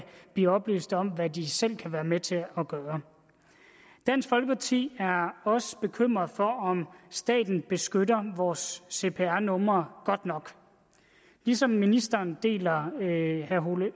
blive oplyst om hvad de selv kan være med til at gøre dansk folkeparti er også bekymret for om staten beskytter vores cpr nummer godt nok ligesom ministeren deler herre ole